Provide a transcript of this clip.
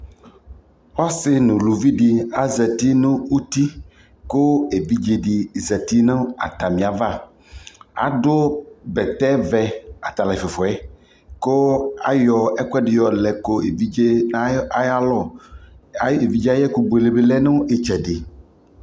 ɔsii nʋ ʋlʋvi di azati nʋ ʋti kʋ ɛvidzɛ di zati nʋ atami aɣa ,adʋ bɛtɛ vɛ, atalʋ ɛƒʋɛƒʋɛ kʋ ayɔ ɛkʋɛdi yɔlɛ nʋ ɛvidzɛ ayialɔ, ayi ɛvidzɛ ayi ɛkʋ bʋɛlɛ bi lɛnʋ ɛtsɛdɛ